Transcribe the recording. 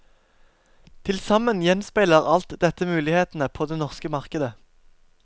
Til sammen gjenspeiler alt dette mulighetene på det norske markedet.